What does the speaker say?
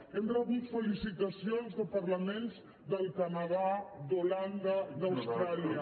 hem rebut felicitacions de parlaments del canadà d’holanda d’austràlia